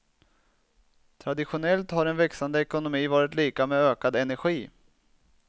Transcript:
Traditionellt har en växande ekonomi varit lika med ökad energi.